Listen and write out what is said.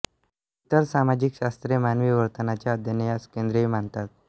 इतर सामाजिक शास्त्रे मानवी वर्तनाच्या अध्ययनास केंद्रीय मानतात